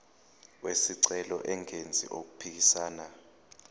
wesicelo engenzi okuphikisana